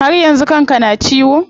Har yanzu kan ka na ciwo?